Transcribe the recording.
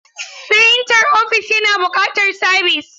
Firintar ofis yana buƙatar sabis.